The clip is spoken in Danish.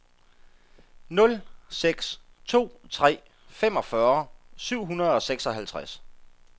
nul seks to tre femogfyrre syv hundrede og seksoghalvtreds